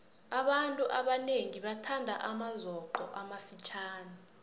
abantu abanengi bathanda amazoqo amafitjhani